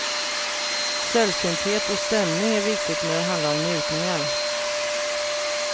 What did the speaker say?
Sällsynthet och stämning är viktigt när det handlar om njutningar.